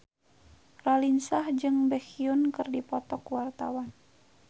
Raline Shah jeung Baekhyun keur dipoto ku wartawan